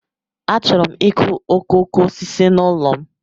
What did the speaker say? Achọrọ m ịkụ okooko osisi n'ụlọ m.